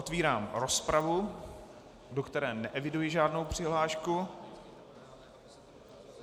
Otevírám rozpravu, do které neeviduji žádnou přihlášku.